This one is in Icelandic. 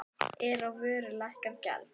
Er á vöru lækkað gjald.